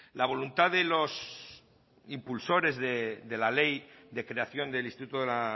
la voluntad de los impulsores de la ley de creación del instituto de la